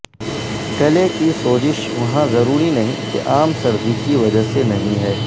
گلے کی سوزش وہاں ضروری نہیں کہ عام سردی کی وجہ سے نہیں ہے